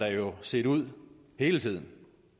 jo set ud hele tiden